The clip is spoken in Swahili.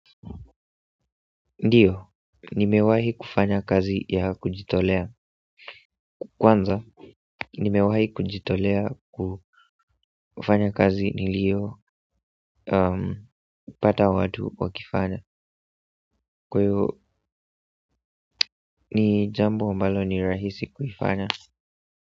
Ndiyo, nimewahi kufanya kazi ya kujitolea kwanza, nimewahi kujitolea kufanya kazi nilio pata watu wakifanya. Kwahiyo, ni jambo ambalo ni rahisi kuifanya.